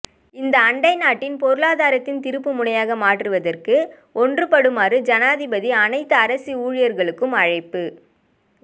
இந்த ஆண்டை நாட்டின் பொருளாதாரத்தின் திருப்புமுனையாக மாற்றுவதற்கு ஒன்றுபடுமாறு ஜனாதிபதி அனைத்து அரச ஊழியர்களுக்கும் அழைப்பு